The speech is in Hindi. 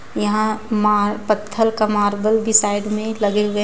यहां मा पत्थर का मार्बल भी साइड में लगे हुए हैं.